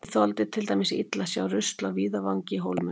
Ég þoldi til dæmis illa að sjá rusl á víðavangi í Hólminum.